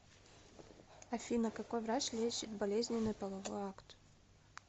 афина какой врач лечит болезненный половой акт